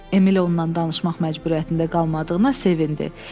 Emil onunla danışmaq məcburiyyətində qalmadığına sevindi.